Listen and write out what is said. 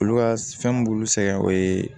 Olu ka fɛn mun b'olu sɛgɛn o ye